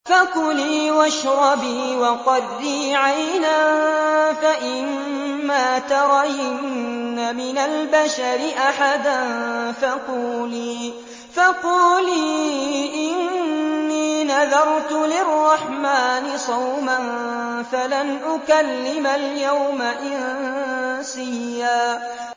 فَكُلِي وَاشْرَبِي وَقَرِّي عَيْنًا ۖ فَإِمَّا تَرَيِنَّ مِنَ الْبَشَرِ أَحَدًا فَقُولِي إِنِّي نَذَرْتُ لِلرَّحْمَٰنِ صَوْمًا فَلَنْ أُكَلِّمَ الْيَوْمَ إِنسِيًّا